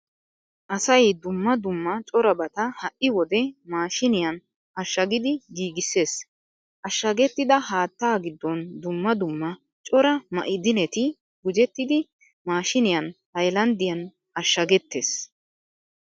Asay dumma dumma corabata ha"i wode maashiiniyan ashshagidi giigissees. Ashshagettida haattaa giddon dumma dumma cora ma'idineti gujettidi maashiiniyan haylanddiyan ashshagettees.